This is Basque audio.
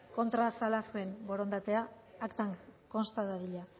kontran zela zuen borondatea aktan konsta dadila